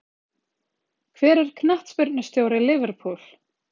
Hver er knattspyrnustjóri Liverpool?